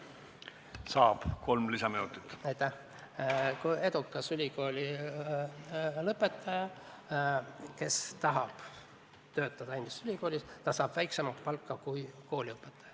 Ei ole normaalne olukord, kui edukas ülikoolilõpetaja, kes tahab oma ülikoolis töötama hakata, saaks seal väiksemat palka kui kooliõpetaja.